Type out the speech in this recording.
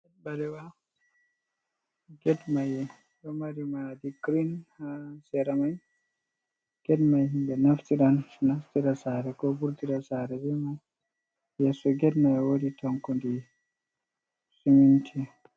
Get balewa get mai ɗo mari madi green ha sera mai get mai himɓe naftira naftira sare ko vurtira sare be mai, yeso get mai woodi tankondi siminti.